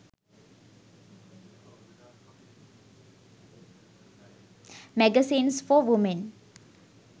magazines for women